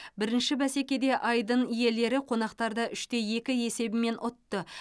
бірінші бәсекеде айдын иелері қонақтарды үште екі есебімен ұтты